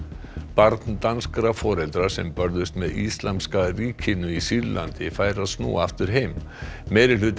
barn danskra foreldra sem börðust með Íslamska ríkinu í Sýrlandi fær að snúa aftur heim